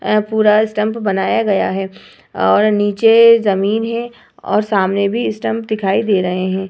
पूरा स्टंप बनाया गया है और नीचे जमीन है और सामने भी स्टंप दिखाई दे रहे हैं।